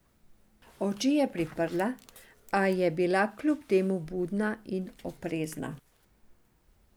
Oči je priprla, a je bila kljub temu budna in oprezna.